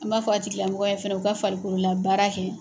An b'a fɔ a tigilamɔgɔ yen fɛnɛ u ka farikolola baara kɛ.